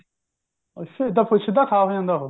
ਅੱਛਾ ਏਧਾ ਸਿਧਾ ਉਹ ਖਾ ਹੋ ਜਾਂਦਾ ਉਹ